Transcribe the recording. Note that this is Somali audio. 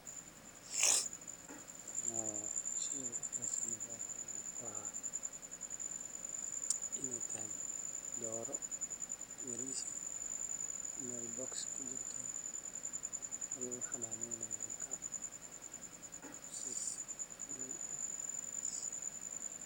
Sheygan waa in ee tahay doro bogos ee kujirto hadana ee dadka ukunta ee siso ukunta cafimaad aya kujirta sas waye.